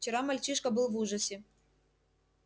вчера мальчишка был в ужасе